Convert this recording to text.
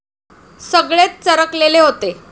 सगळेच चरकलेले होते.